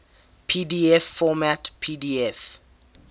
pdf format pdf